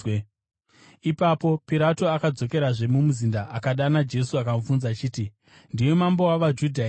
Ipapo Pirato akadzokerazve mumuzinda, akadana Jesu akamubvunza achiti, “Ndiwe mambo wavaJudha here?”